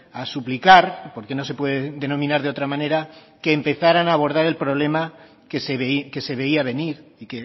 a suplicar porque no se puede denominar de otra manera que empezaran a abordar el problema que se veía venir y